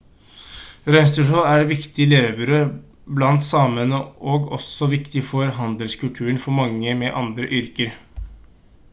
reinsdyrhold er et viktig levebrød blant samene og også viktig for handelskulturen for mange med andre yrker